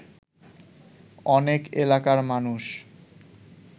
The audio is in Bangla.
অনেক এলাকার মানুষ